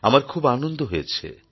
আমার খুব আনন্দ হয়েছে